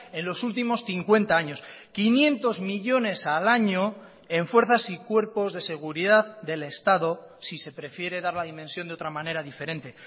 en los últimos cincuenta años quinientos millónes al año en fuerzas y cuerpos de seguridad del estado si se prefiere dar la dimensión de otra manera diferente